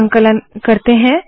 संकलन करते है